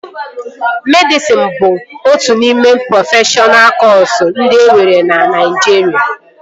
Medịsịn bụ otu n'ime prọfeshọna kọsu ndị enwere na Naịjirịa